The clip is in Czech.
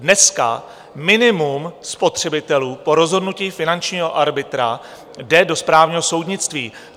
Dneska minimum spotřebitelů po rozhodnutí finančního arbitra jde do správního soudnictví.